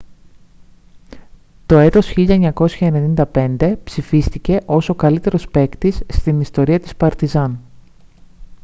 το έτος 1995 ψηφίστηκε ως ο καλύτερος παίκτης στην ιστορία της παρτιζάν